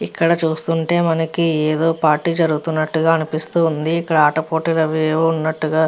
ఇక్కడ చూస్తుంటే మనకి ఏదో పార్టీ జరుగుతున్నట్టు గా అనిపిస్తూ ఉంది ఇక్కడ ఆట పోటీలు అవి యేవో ఉన్నటుగా --